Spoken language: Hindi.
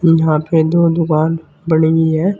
यहां पे दो दुकान बनी हुई है।